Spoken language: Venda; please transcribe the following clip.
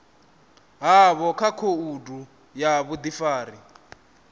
havho kha khoudu ya vhudifari